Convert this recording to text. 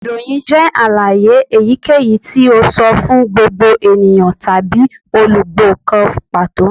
Iroyin jẹ alaye eyikeyi ti o sọ fun gbogbo eniyan tabi olugbo kan pato